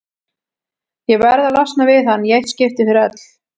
Ég verð að losna við hann í eitt skipti fyrir öll.